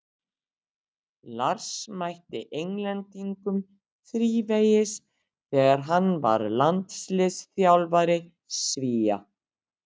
Lars mætti Englendingum þrívegis þegar hann var landsliðsþjálfari Svía.